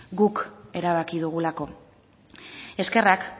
guk erabaki dugulako eskerrak